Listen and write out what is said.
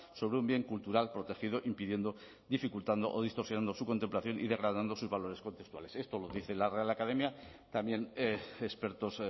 sobre un bien cultural protegido impidiendo dificultando o distorsionando su contemplación y degradando sus valores contextuales esto lo dice la real academia también expertos